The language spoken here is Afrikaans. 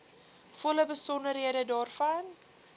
volle besonderhede daarvan